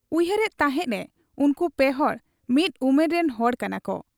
ᱩᱭᱦᱟᱹᱨ ᱮᱫ ᱛᱟᱦᱮᱸᱫ ᱮ ᱩᱱᱠᱩ ᱯᱮᱦᱚᱲ ᱢᱤᱫ ᱩᱢᱮᱨ ᱨᱤᱱ ᱦᱚᱲ ᱠᱟᱱᱟᱠᱚ ᱾